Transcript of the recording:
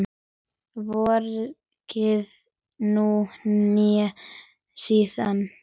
Hvorki nú né síðar.